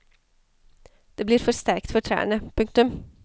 Det blir for sterkt for trærne. punktum